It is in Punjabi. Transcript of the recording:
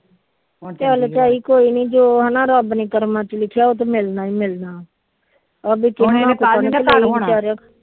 ਚਲ ਜੋ ਹਨਾ ਰੱਬ ਨੇ ਕਰਮਾ ਚ ਲਿਖਿਆ ਉਹ ਤੇ ਮਿਲਣਾ ਹੀ ਮਿਲਣਾ ਹੁਣ